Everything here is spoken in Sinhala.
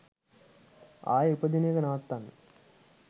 ආයේ උපදින එක නවත්වන්න